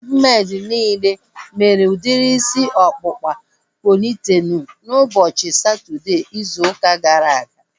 Ndị braidmeid niile mere udiri isi ọkpụkpa pọnitelu ụbọchị Satọdee izu ụka gara aga